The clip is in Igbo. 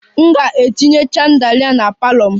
M ga-etinye chandelier na parlour m